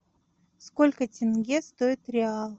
сколько тенге стоит реал